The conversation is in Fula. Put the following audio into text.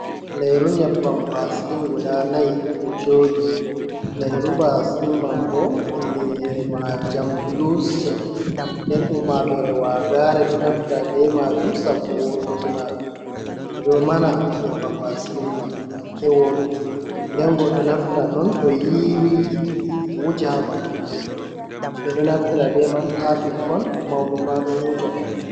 Lairu nyebbam baasilin guda nai ɗo jooɗi, lairu baasilin man bo inde ma jam bulusil den ummatore wagare ɗo naftira be majum sabbu woɗuki majum, ɓe ɗo mana nyebbam vaasilin man hakke woɗuki den goɗɗo naftiran on to yiwi wuja ha ɓandu, ɓe ɗo naftira be man ha ɓikkon mauɓe ma ɗon wuja ɗam.